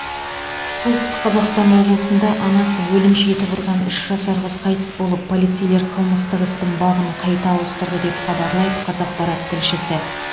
солтүстік қазақстан облысында анасы өлімші етіп ұрған үш жасар қыз қайтыс болып полицейлер қылмыстық істің бабын қайта ауыстырды деп хабарлайды қазақпарат тілшісі